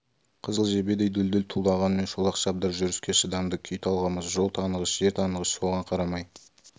қызыл жебедей дүлдүл тумағанмен шолақ шабдар жүріске шыдамды күй талғамас жол танығыш жер танығыш соған қарамай